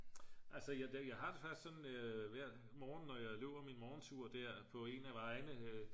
altså jeg har det faktisk sådan hver morgen når jeg løber min morgentur der på en af vejene